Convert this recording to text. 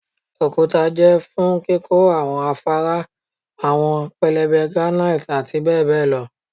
okuta jẹ fun kikọ awọn afara, awọn pẹlẹbẹ granite ati bẹbẹ lọ